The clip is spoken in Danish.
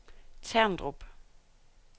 Terndrup